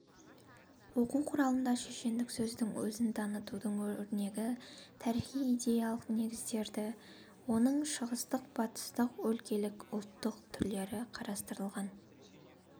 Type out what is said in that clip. оқу құралында шешендік сөздің өзін танытудың өрнегі тарихи-идеялық негіздері оның шығыстық батыстық өлкелік ұлттық түрлері қарастырылған